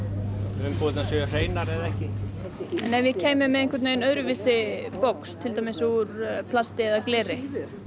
umbúðirnar séu hreinar eða ekki en ef ég kæmi með öðruvísi box til dæmis úr plasti eða gleri